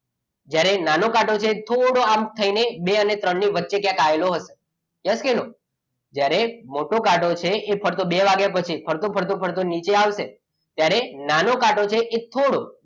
જ્યારે નાનો કાંટો છે એ થોડો આમ થઈને બે અને ત્રણ ની વચ્ચે yes કે no ત્યારે મોટો કાંટો છે કાં તો બે વાગ્યા પછી ફરતો ફરતો ફરતો નીચે આવશે ત્યારે નાનો કાંટો છે એ થોડો